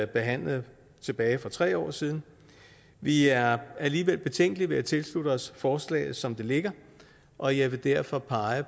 behandlede for tre år siden vi er alligevel betænkelige ved at tilslutte os forslaget som det ligger og jeg vil derfor pege